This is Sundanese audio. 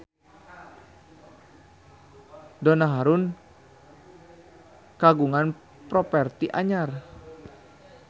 Donna Harun kagungan properti anyar